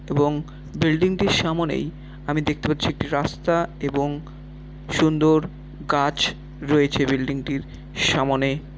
এবং বিল্ডিং -টির সামোনেই আমি দেখতে পাচ্ছি একটি রাস্তা এবং সুন্দর গাছ রয়েছে বিল্ডিং -টির সামোনে।